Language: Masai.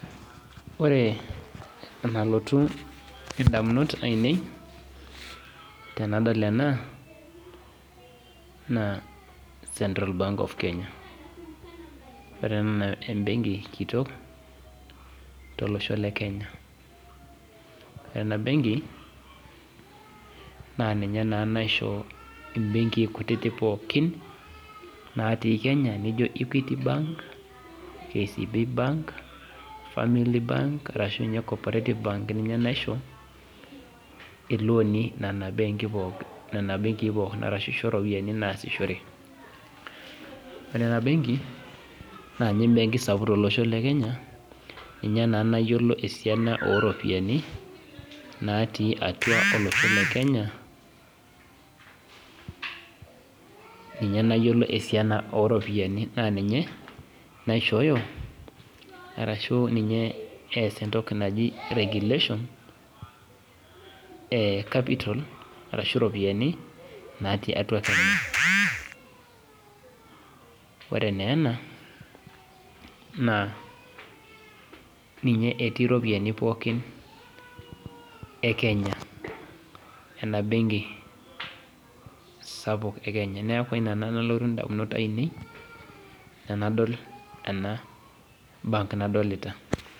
Ore enalotu indamunot aainei tenadol ena naa central bank of Kenya benki kitok tolosho lekenya ninye naisho imbekii polin naati kenya ilooni nena benki poikin ore ena benki tolosho lekenya ninye nayiolo esiana ooropiyiani naaninye naishooyo iropiyiani natii atua kenya ore naa ena naa ninye etii iropiyiani pokin ekenya neeku ina nalotu indamunot aainei tenadol ena benki nadolita